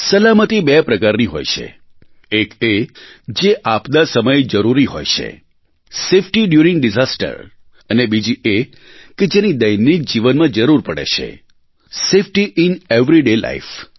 સલામતી બે પ્રકારની હોય છે એક એ જે આપદા સમયે જરૂરી હોય છે સેફ્ટી ડ્યુરીંગ ડિઝાસ્ટર અને બીજી એ કે જેની દૈનિક જીવનમાં જરૂર પડે છે સેફ્ટી ઇન એવરીડે લાઇફ